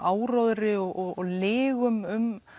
áróðri og lygum um